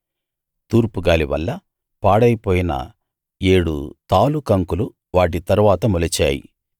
తూర్పుగాలి వల్ల పాడైపోయిన ఏడు తాలు కంకులు వాటి తరువాత మొలిచాయి